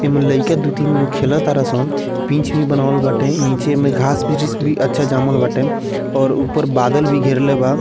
एमे लईका दु-तीन गो खेल तारा सन पिच भी बनावल बाटे नीचे में घास-वृस भी अच्छा जमल बाटे और ऊपर बादल भी घेरले बा।